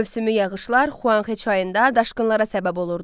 Mövsümi yağışlar Xuanxe çayında daşqınlara səbəb olurdu.